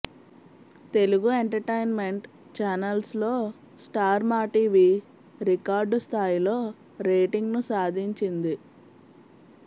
Telugu entertainment ఛానెల్స్లో star Maa TV record స్థాయిలో రేటింగ్ను సాధించింది